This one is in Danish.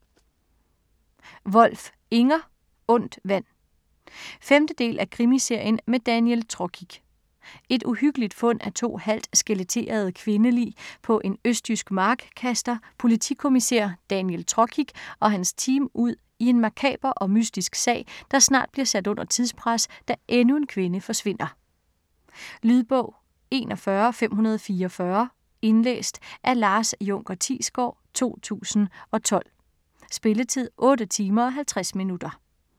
Wolf, Inger: Ondt vand 5. del af krimiserien med Daniel Trokic. Et uhyggeligt fund af to halvt skeletterede kvindelig på en østjysk mark kaster politikommissær Daniel Trokic og hans team ud i en makaber og mystisk sag, der snart bliver sat under tidspres, da endnu en kvinde forsvinder. Lydbog 41544 Indlæst af Lars Junker Thiesgaard, 2012. Spilletid: 8 timer, 50 minutter.